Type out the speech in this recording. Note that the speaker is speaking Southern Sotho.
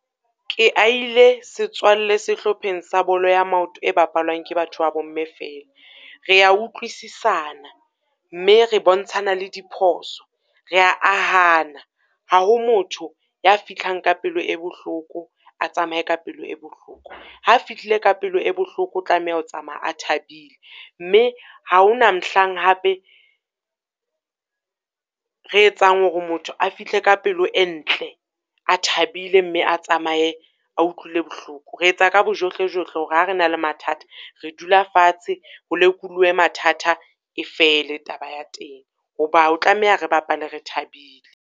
Ke aile setswalle sehlopheng sa bolo ya maoto e bapalwang ke batho ba bo mme fela. Re ya utlwisisana mme re bontshana le diphoso, re ya ahana. Ha ho motho ya fihlang ka pelo e bohloko, a tsamaye ka pelo e bohloko. Ha a fihlile ka pelo e bohloko, o tlameha ho tsamaya a thabile, mme ha ho na mohlang hape re etsang hore motho a fihle ka pelo e ntle, a thabile mme a tsamaye a utlwile bohloko. Re etsa ka bojohlejohle hore ha re na le mathata, re dula fatshe ho lekoluwe mathata, e fele taba ya teng. Ho ba o tlameha re bapale re thabile.